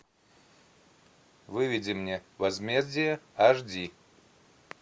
выведи мне возмездие аш ди